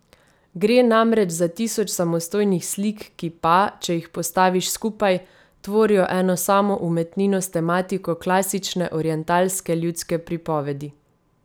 Gre namreč za tisoč samostojnih slik, ki pa, če jih postaviš skupaj, tvorijo eno samo umetnino s tematiko klasične orientalske ljudske pripovedi.